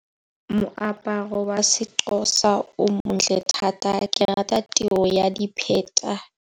Moaparo wa seXhosa o montle thata ke rata tiro ya dipheta.